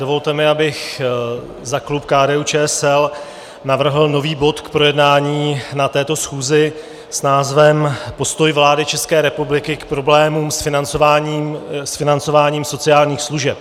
Dovolte mi, abych za klub KDU-ČSL navrhl nový bod k projednání na této schůzi s názvem Postoj vlády České republiky k problémům s financováním sociálních služeb.